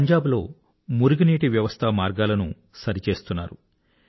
పంజాబ్ లో drainage lines ను సరిచేస్తున్నారు